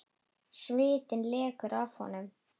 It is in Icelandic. Svitinn lekur af honum.